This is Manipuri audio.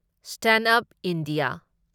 stand up India